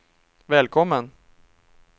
välkommen